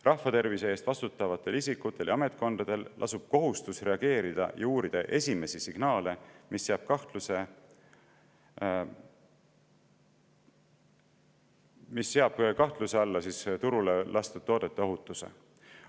Rahvatervise eest vastutavatel isikutel ja ametkondadel lasub kohustus reageerida esimestele signaalidele ja uurida neid, kui need seavad kahtluse alla turule lastud toote ohutuse.